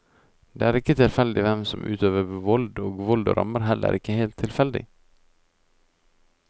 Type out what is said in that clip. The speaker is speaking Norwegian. Det er ikke tilfeldig hvem som utøver vold, og vold rammer heller ikke helt tilfeldig.